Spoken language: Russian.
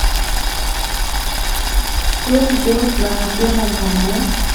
что идет на первом канале